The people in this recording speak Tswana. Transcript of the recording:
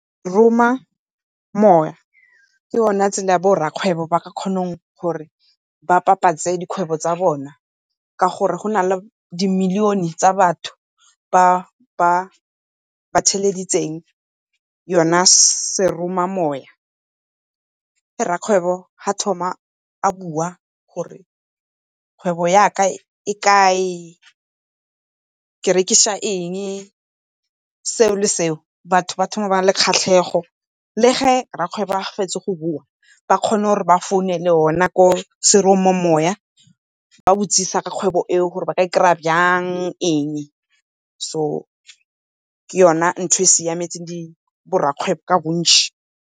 Seromamowa ke yone tsela e bo rrakgwebo ba ka kgonang gore ba dikgwebo tsa bona ka gore go na le di-million-e tsa batho ba theleditseng yona seromamoya. Ga rrakgwebo a thoma a bua gore kgwebo yaka e kae, ke rekisa eng seo le seo, batho ba thoma ba nna le kgatlhego. Le ga rrakgwebo a fetsa go bua ba kgona gore ba founele go na ko seromamowa ba botsisa ka kgwebo e o gore ba e kry-a jang eng so ke yone ntho e tshwanetseng bo rrakgwebo ka bontšhi.